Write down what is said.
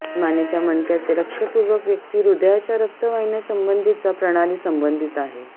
मानेच्या मणक्याचे लक्षपूर्वक व्यक्ती ह्रदयाचा रक्तवहिन्यासंबंधीचा प्रणाली संबंधित आहे